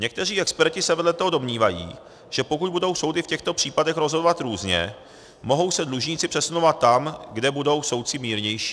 Někteří experti se vedle toho domnívají, že pokud budou soudy v těchto případech rozhodovat různě, mohou se dlužníci přesunovat tam, kde budou soudci mírnější.